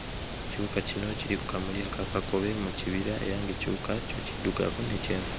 Ekiwuka kino kiri ku kamuli aka kakobe mu kibira era ng'ekiwuka kyo kiddugavu ne kyenvu.